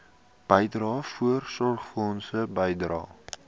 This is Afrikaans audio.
bydrae voorsorgfonds bydrae